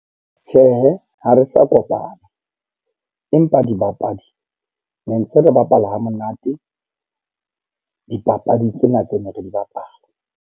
Tjhehe, ha re sa kopana. Empa dibapadi, ne ntse re bapala ha monate dipapadi tsena tse neng re di bapala.